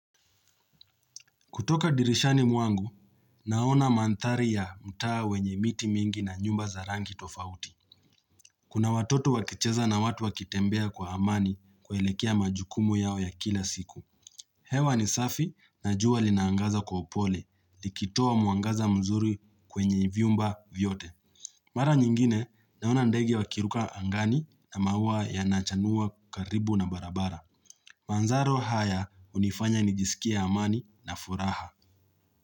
Kutoka dirishani mwangu, naona manthari ya mtaa wenye miti mingi na nyumba za rangi tofauti. Kuna watoto wakicheza na watu wakitembea kwa amani kuelekea majukumu yao ya kila siku. Hewa ni safi na jua linaangaza kwa upole, likitoa mwangaza mzuri kwenye vyumba vyote. Mara nyingine, naona ndege wakiruka angani na maua ya nachanua karibu na barabara. Manzaro haya hunifanya nijisikia amani na furaha.